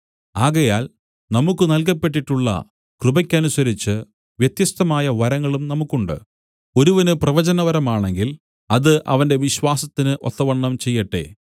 ആകയാൽ നമുക്കു നൽകപ്പെട്ടിട്ടുള്ള കൃപക്കനുസരിച്ച് വ്യത്യസ്തമായ വരങ്ങളും നമുക്കുണ്ട് ഒരുവന് പ്രവചനവരമാണെങ്കിൽ അത് അവന്റെ വിശ്വാസത്തിന് ഒത്തവണ്ണം ചെയ്യട്ടെ